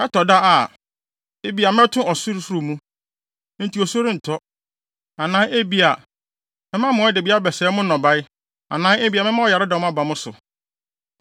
“Ɛtɔ da a, ebia mɛto ɔsorosoro mu, enti osu rentɔ, anaa ebia mɛma mmoadabi abɛsɛe mo nnɔbae anaa ebia mɛma ɔyaredɔm aba mo so.